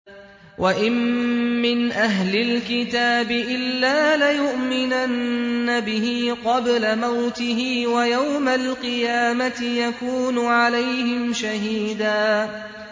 وَإِن مِّنْ أَهْلِ الْكِتَابِ إِلَّا لَيُؤْمِنَنَّ بِهِ قَبْلَ مَوْتِهِ ۖ وَيَوْمَ الْقِيَامَةِ يَكُونُ عَلَيْهِمْ شَهِيدًا